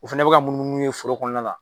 U fɛnɛ be ka munumunu n'u ye foro kɔnɔna la.